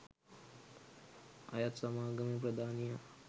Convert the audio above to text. අයත් සමාගමේ ප්‍රධානියා